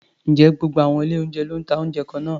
Ǹjẹ́ gbogbo àwọn ilé-oúnjẹ ló ń ta oúnjẹ kan náà?